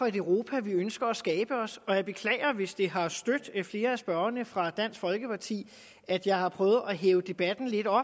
europa vi ønsker at skabe os jeg beklager hvis det har stødt flere af spørgerne fra dansk folkeparti at jeg har prøvet at hæve debatniveauet